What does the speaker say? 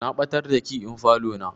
Na ɓatar da key ɗin falo na.